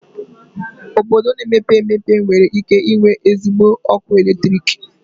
Obodo na-emepe emepe nwere ike inwe ezigbo ọkụ eletrik?